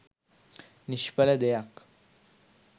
නිශ්ඵල දෙයක්.